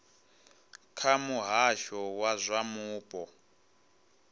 kha muhasho wa zwa mupo